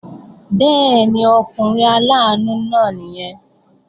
Bẹ́ẹ̀ni, ọkùnrin aláàánú náà nìyẹn